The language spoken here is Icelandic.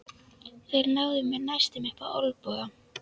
Þeir náðu mér næstum upp á olnboga.